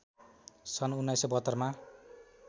सन् १९७२ मा